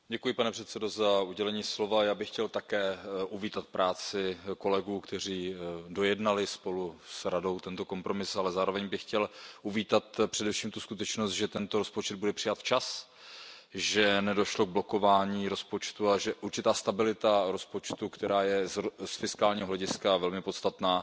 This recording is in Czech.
Pane předsedající, já bych chtěl také uvítat práci kolegů, kteří dojednali spolu s Radou tento kompromis, ale zároveň bych chtěl uvítat především tu skutečnost, že tento rozpočet byl přijat včas, že nedošlo k blokování rozpočtu a že určitá stabilita rozpočtu, která je z fiskálního hlediska velmi podstatná,